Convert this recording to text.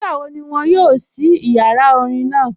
Nígbàwó̀ ní wọn yóò ṣí ìyàrá orín naa?